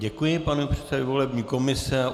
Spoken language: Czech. Děkuji panu předsedovi volební komise.